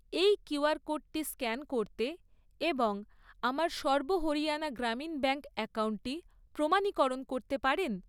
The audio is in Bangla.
এই কিউআর কোডটি স্ক্যান করতে এবং আমার সর্ব হরিয়ানা গ্রামীণ ব্যাঙ্ক অ্যাকাউন্টটি প্রমাণীকরণ করতে পারেন?